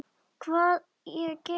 Hvað ég geri við þær?